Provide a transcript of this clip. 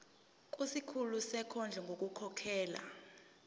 kusikhulu sezondlo ngokukhokhela